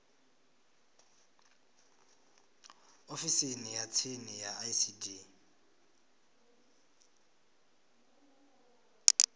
ofisini ya tsini ya icd